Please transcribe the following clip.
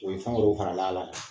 faral'a la